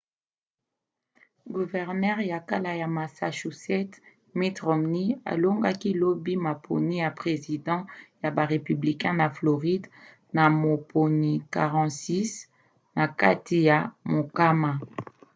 guvernere ya kala ya massachusetts mitt romney alongaki lobi maponi ya president ya ba républicain na floride na moponi 46 na kati ya mokama